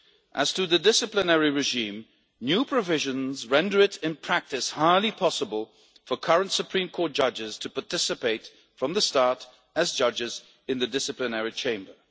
As to the disciplinary regime, new provisions render it in practice highly possible for current Supreme Court judges to participate from the start as judges in the Disciplinary Chamber.